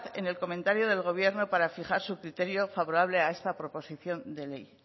en el comentario del gobierno para fijar su criterio favorable a esta proposición de ley